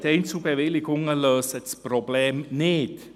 Die Einzelbewilligungen lösen das Problem nicht.